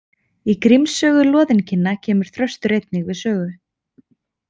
Í Gríms sögu loðinkinna kemur Þröstur einnig við sögu.